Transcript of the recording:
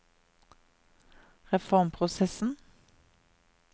reformprosessen